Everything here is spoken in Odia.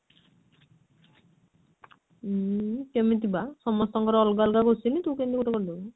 ଉଁ କେମିତି ବା ସମସ୍ତଙ୍କର ଅଲଗା ଅଲଗା question ତୁ କେମିତି ଗୋଟେ କରିଦବୁ